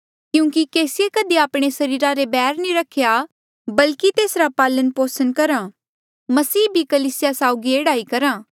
क्यूंकि केसीये कधी आपणे सरीरा ले बैर नी रख्या बल्की तेसरा पालनपोसण करहा मसीह भी कलीसिया साउगी एह्ड़ा ही करहा